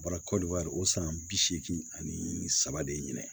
Baara kɔli wari o san bi seegin ani saba de ɲinɛn